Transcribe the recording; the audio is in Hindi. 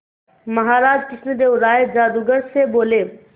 महाराज कृष्णदेव राय जादूगर से बोले